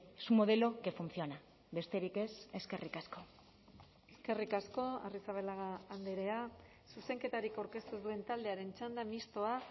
es un modelo que funciona besterik ez eskerrik asko eskerrik asko arrizabalaga andrea zuzenketarik aurkeztu ez duen taldearen txanda mistoa